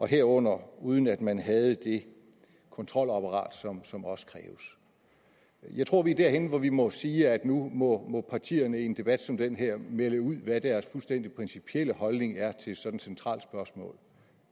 herunder uden at man havde det kontrolapparat som også kræves jeg tror at vi er derhenne hvor vi må sige at nu må må partierne i en debat som den her melde ud hvad deres fuldstændig principielle holdning er til sådan et centralt spørgsmål